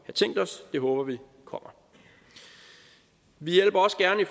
det håber vi kommer vi hjælper også gerne i